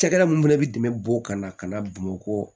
Cakɛda mun fɛnɛ bi dɛmɛ bɔ o kan ka na bamakɔ